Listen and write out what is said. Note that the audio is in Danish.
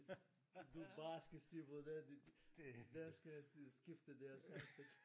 Du bare skal se hvordan de hvor dansker de skifter deres ansigt